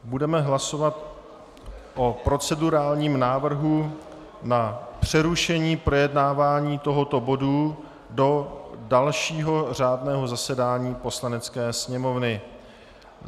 Budeme hlasovat o procedurálním návrhu na přerušení projednávání tohoto bodu do dalšího řádného zasedání Poslanecké sněmovny.